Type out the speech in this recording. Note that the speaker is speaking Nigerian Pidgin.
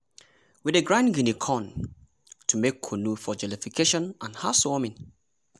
we dey grind guinea corn to make kunu for jollification and housewarming